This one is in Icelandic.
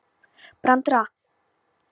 Branda var lengi að jafna sig.